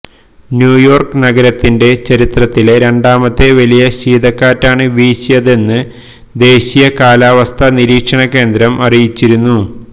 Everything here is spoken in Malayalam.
ന്യൂയോര്ക്ക് നഗരത്തിന്റെ ചരിത്രത്തിലെ രണ്ടാമത്തെ വലിയ ശീതക്കാറ്റാണ് വീശിയതെന്ന് ദേശീയ കാലാവസ്ഥാ നിരീക്ഷണകേന്ദ്രം അറിയിച്ചിരുന്നു